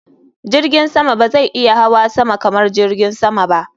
Jirgin sama ba zai iya hawa sama kamar jirgin sama ba.